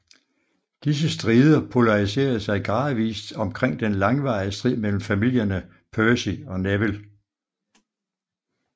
Disse strider polariserede sig gradvist omkring den langvarige strid mellem familierne Percy og Neville